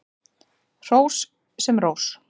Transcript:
Hrós sem rós.